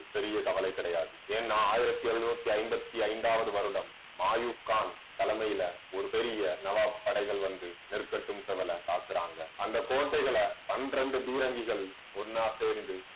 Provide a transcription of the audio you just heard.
பெரிய கவலை கிடையாது ஏன்னா ஆயிரத்தி எழுநூத்தி ஐம்பத்தி ஐந்தாவது வருடம் மாயூக்கன் தலைமையில ஒரு பெரிய நவாப் படைகள் வந்து நெற்கட்டும் செவலை தாக்குறாங்க. அந்த கோட்டைகளை பீரங்கிகள் ஒண்ணா சேர்ந்து